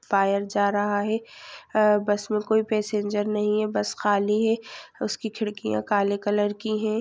Tyre जा रहा है बस में कोई पैसेजर नही है बस खाली है उसकी खिड़कियां काले कलर की है।